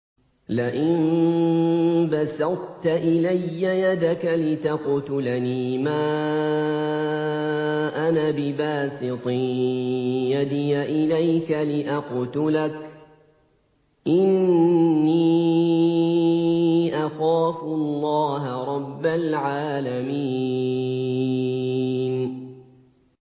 لَئِن بَسَطتَ إِلَيَّ يَدَكَ لِتَقْتُلَنِي مَا أَنَا بِبَاسِطٍ يَدِيَ إِلَيْكَ لِأَقْتُلَكَ ۖ إِنِّي أَخَافُ اللَّهَ رَبَّ الْعَالَمِينَ